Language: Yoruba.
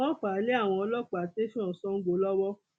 wọn fà á lé àwọn ọlọpàá tẹsán sango lọwọ